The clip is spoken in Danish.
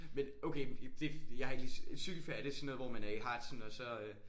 Men okay det jeg har ikke lige cykelferie det er sådan noget hvor man er i Harzen og så øh